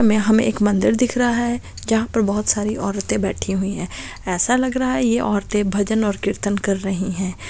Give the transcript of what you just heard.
हमे हमे एक मंदिर दिख रहा है जहां पर बहोत सारी औरते बैठी हुई हैं ऐसा लग रहा है ये औरतें भजन ओर कीर्तन कर रहीं हैं।